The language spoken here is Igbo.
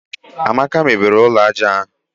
Amaka mebiri ụlọ aja ahụ